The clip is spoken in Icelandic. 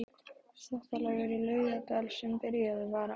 Þvottalaugarnar í Laugardal sem byrjað var á